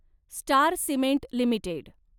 star Cement limited